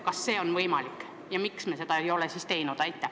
Kas see on võimalik ja kui on, siis miks me seda ei ole teinud?